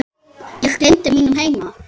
Ég gleymdi mínum heima